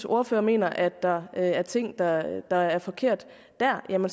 ordfører mener der er ting der er der er forkerte der må